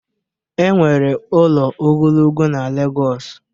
Enwere ụlọ ogologo na Lagos